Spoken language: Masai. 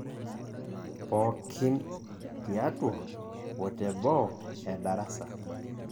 Pookin, tiatua o teboo edarasa.